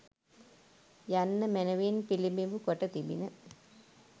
යන්න මැනවින් පිළිබිඹු කොට තිබිණ